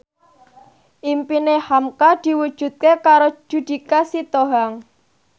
impine hamka diwujudke karo Judika Sitohang